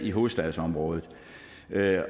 i hovedstadsområdet